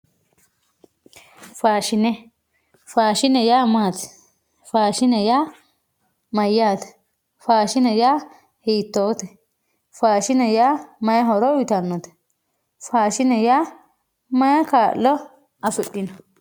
faashine faashine yaa maati faashine yaa mayaate faashine yaa hiitoote faashine yaa mayi horo uyiitannote faashine yaa mayi kaa'lo afidhino